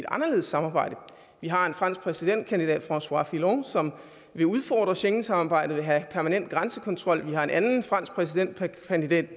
anderledes samarbejde vi har en fransk præsidentkandidat françois fillon som vil udfordre schengensamarbejdet og vil have permanent grænsekontrol vi har en anden fransk præsidentkandidat